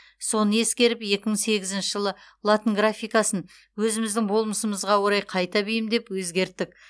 соны ескеріп екі мың сегізінші жылы латын графикасын өзіміздің болмысымызға орай қайта бейімдеп өзгерттік